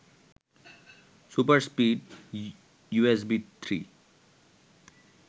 super speed USB three